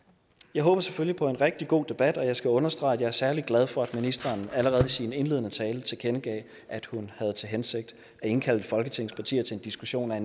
jeg håber selvfølgelig på en rigtig god debat og jeg skal understrege at jeg er særlig glad for at ministeren allerede i sin indledende tale tilkendegav at hun havde til hensigt at indkalde folketingets partier til en diskussion af